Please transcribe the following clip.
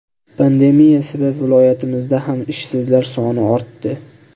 Pandemiya sabab viloyatimizda ham ishsizlar soni ortdi.